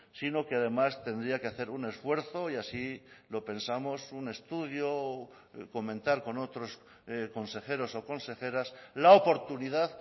sino que además tendría que hacer un esfuerzo y así lo pensamos un estudio comentar con otros consejeros o consejeras la oportunidad